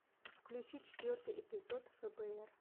включи четвертый эпизод фбр